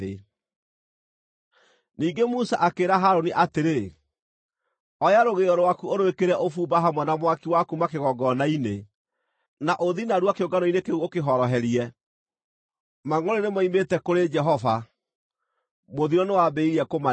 Ningĩ Musa akĩĩra Harũni atĩrĩ, “Oya rũgĩo rwaku ũrwĩkĩre ũbumba hamwe na mwaki wa kuuma kĩgongona-inĩ, na ũthiĩ narua kĩũngano-inĩ kĩu ũkĩhoroherie. Mangʼũrĩ moimĩte kũrĩ Jehova; mũthiro nĩwambĩrĩirie kũmaniina.”